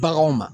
Baganw ma